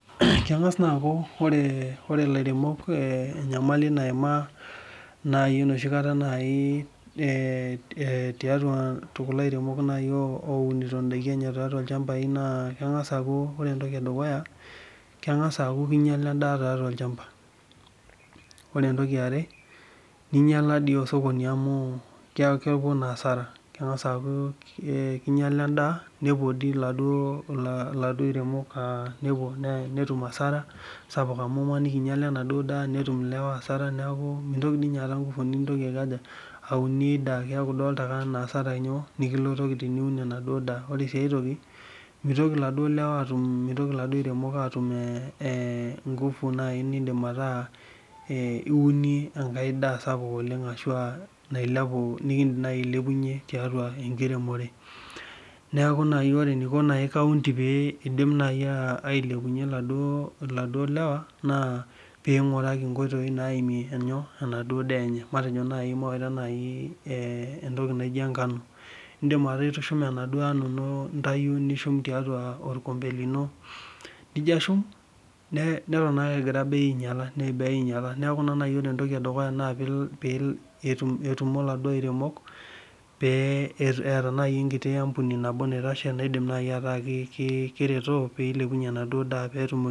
Kengas naa aku ore lairemok enyamali naimaanmai tiatua kulo airemok oremito ndakin enye na kemgasa aaku ore entoki edukuya kengasa aaku kinyala endaa tiatua olchamba ore entoki eare ninyala osokoni amu kepuo asara kengasa aaku kinyala enaduo daa netum ilewa asara neaku mitoki ninye at nkufu niunie inadaa ore si aitoki mitoki laduo aremok atum nkufu niunie enaduo daa sapuk oleng ashu nikidim ailepunye tiatua enkiremore neaku oee eniko kaunti pidim ailepunye laduo lewa na pinguraki nkoitoi naimie enaduo daa enye indim aaitau nishuk tiatua orkombe lino nijo ashum neton ake egira bei ainyala enkiti ampuni nabo pereto petum